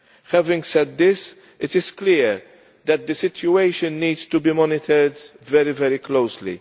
Having said this, it is clear that the situation needs to be monitored very closely.